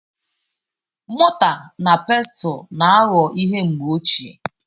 Mọta na Pestụl na-aghọ ihe mgbe ochie.